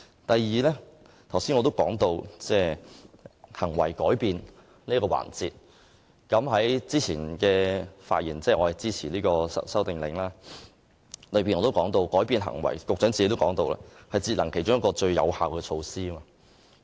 第二，我剛才提到行為改變這一點，我先前在支持這項《修訂令》時的發言也說過，而局長亦曾說過，改變行為是節能其中一項最有效的措施。